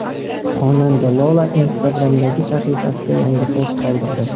Xonanda Lola Instagram’dagi sahifasida yangi post qoldirdi.